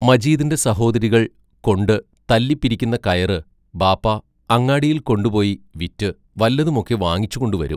മജീദിന്റെ സഹോദരികൾ കൊണ്ടു തല്ലി പിരിക്കുന്ന കയറ് ബാപ്പാ അങ്ങാടിയിൽ കൊണ്ടുപോയി വിറ്റ് വല്ലതുമൊക്കെ വാങ്ങിച്ചു കൊണ്ടുവരും.